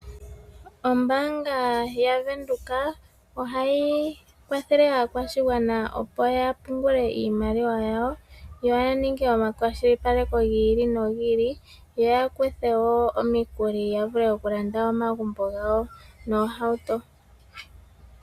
Ombaanga yaVenduka ohayi kwathele aakwashigwana opo ya pungule iimaliwa yawo, yo ya ninge omakwashilipaleko gi ili nogi ili, yo ya kuthe wo omikuli ya vule okulanda omagumbo gawo noohauto.